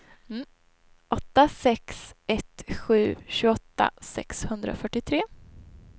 åtta sex ett sju tjugoåtta sexhundrafyrtiotre